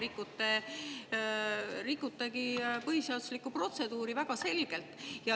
Te rikutegi põhiseaduslikku protseduuri väga selgelt.